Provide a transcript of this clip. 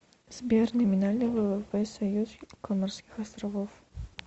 сбер номинальный ввп союз коморских островов